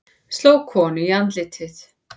Sló konu í andlitið